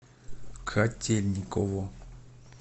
котельниково